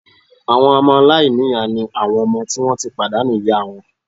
Àwọn ọmọ aláìníyàá ni àwọn ọmọ tí wọ́n ti pàdánù ìyá wọn